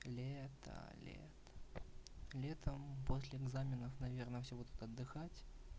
лето лето летом возле экзаменов наверное все будут отдыхать